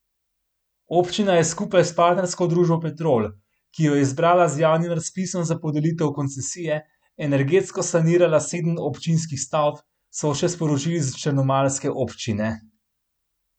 Občina je skupaj s partnersko družbo Petrol, ki jo je izbrala z javnim razpisom za podelitev koncesije, energetsko sanirala sedem občinskih stavb, so še sporočili s črnomaljske občine.